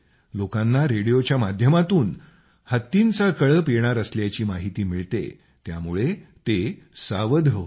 लोकांना रेडिओच्या माध्यमातून हत्तींचा कळप येणार असल्याची माहिती मिळते त्यामुळे ते सावध होतात